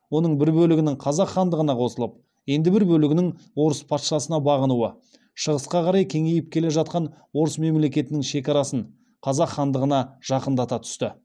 оның бір бөлігінің қазақ хандығына қосылып енді бір бөлегінің орыс патшасына бағынуы шығысқа қарай кеңейіп келе жатқан орыс мемлекетінің шекарасын қазақ хандығына жақындата түсті